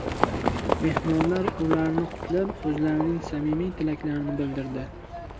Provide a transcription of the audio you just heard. Mehmonlar ularni qutlab, o‘zlarining samimiy tilaklarini bildirdi.